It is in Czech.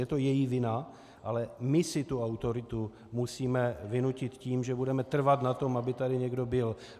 Je to její vina, ale my si tu autoritu musíme vynutit tím, že budeme trvat na tom, aby tady někdo byl.